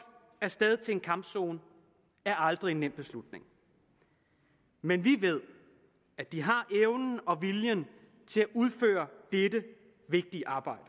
af sted til en kampzone er aldrig en nem beslutning men vi ved at de har evnen og viljen til at udføre dette vigtige arbejde